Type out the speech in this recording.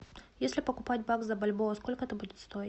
если покупать бакс за бальбоа сколько это будет стоить